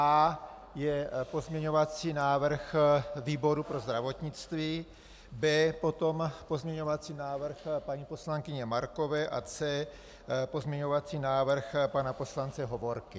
A je pozměňovací návrh výboru pro zdravotnictví, B potom pozměňovací návrh paní poslankyně Markové a C pozměňovací návrh pana poslance Hovorky.